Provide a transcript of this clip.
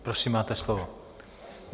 Prosím, máte slovo.